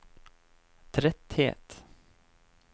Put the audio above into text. tretthet